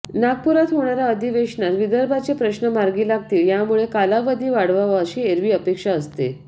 नागपुरात होणाऱ्या अधिवेशनात विदर्भाचे प्रश्न मार्गी लागतील यामुळे कालावधी वाढवावा अशी एरवी अपेक्षा असते